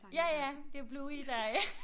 Ja ja det jo Bluey der øh